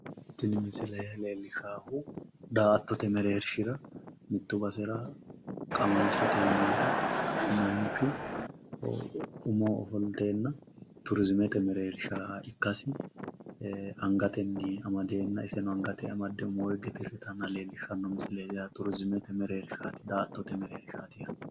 Tini misile leellishshaahu daa"attote mereershira mitte basera qamalchote yinayita manchu umoho ofolteenna turiziimete mereersha ikkasi angatenni amadeenna iseno angatenni amadde umoo higge dirritanna leellishshanno misileeti yaate. Turiziimete mereershaati. Daa"attote mereershaati yaaate.